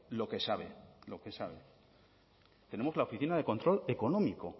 lo que sabe lo que sabe tenemos la oficina de control económico